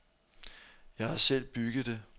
Jeg har selv bygget det.